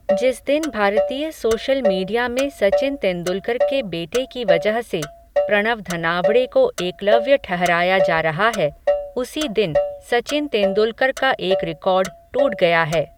जिस दिन भारतीय सोशल मीडिया में सचिन तेंदुलकर के बेटे की वजह से, प्रणव धनावड़े को एकलव्य ठहराया जा रहा है, उसी दिन, सचिन तेंदुलकर का एक रिकॉर्ड, टूट गया है.